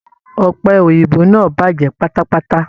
Ọ̀pẹ̀ Òyìnbó náà bàjẹ́ pátápátá.